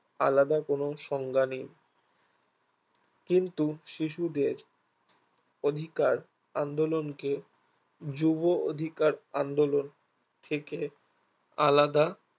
আলাদা কোনো সংজ্ঞা নেই কিন্তু শিশুদের অধিকার আন্দোলনকে যুব অধিকার আন্দোলন থেকে আলাদা